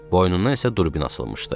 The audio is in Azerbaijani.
Boynundan isə durbin asılmışdı.